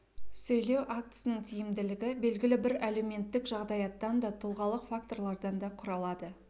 сөйлеу актісінің тиімділігі белгілі бір әлеуметтік жағдаяттан да тұлғалық факторлардан да құралады